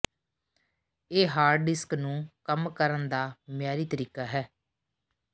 ਇਹ hard disk ਨੂੰ ਕੰਮ ਕਰਨ ਦਾ ਮਿਆਰੀ ਤਰੀਕਾ ਹੈ